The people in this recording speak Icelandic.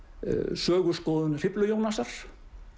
söguskoðun Hriflu Jónasar